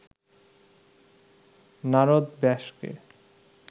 Narad ব্যাসকে